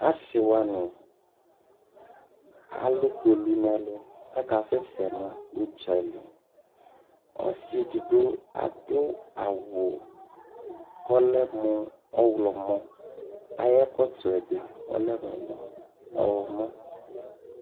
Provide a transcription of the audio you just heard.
Asiwani alukpolu nu ɛlu ku akasɛsɛ nu uɖzali osiɛdigbo aduawu ku olɛmu oxlɔmo ayɛkɔtoɛbi olɛmu oxlɔmo